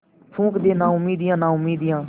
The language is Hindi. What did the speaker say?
फूँक दे नाउमीदियाँ नाउमीदियाँ